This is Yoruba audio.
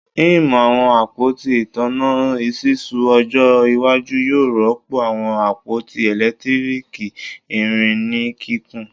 Im awọn apoti itanna ṣiṣu ojo iwaju yoo rọpo awọn apoti eletiriki irin ni kikun